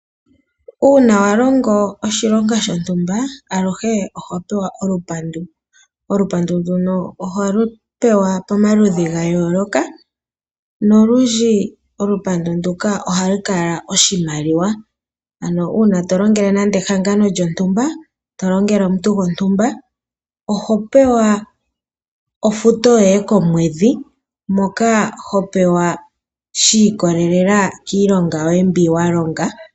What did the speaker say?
Uuna wa longo oshilonga shontumba aluhe oho pewa olupandu. Olupandu nduno oholu pewa pomaludhi gayooloka, nolundji olupandu nduka ohalu kala oshimaliwa. Ano uuna tolongele nande ehangano lyontumba, tolongele omuntu gontumba, oho pewa ofuto yoye komwedhi, moka ho pewa shiikololela kiilonga yoye mbi wa longa.